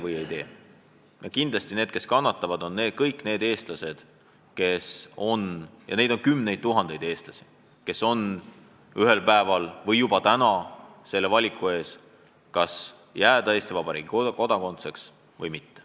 Kui me hääletame vastu, siis kannatavad kõik need Eesti inimesed – ja neid on kümneid tuhandeid –, kes ühel päeval või juba täna seisavad valiku ees, kas jääda Eesti Vabariigi kodanikuks või mitte.